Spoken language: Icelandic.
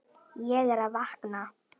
Ég var að vakna.